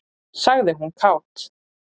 sagði hún kát.